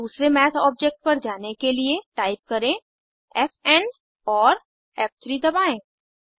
और दूसरे math object पर जाने के लिए टाइप करें फ़ एन और फ़3 दबाएं